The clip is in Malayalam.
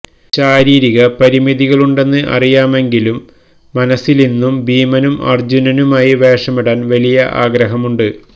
ശാരീരിക പരിമിതികളുണ്ടെന്ന് അറിയാമെങ്കിലും മനസ്സിലിന്നും ഭീമനും അര്ജ്ജുനനുമായി വേഷമിടാന് വലിയ ആഗ്രഹമുണ്ട്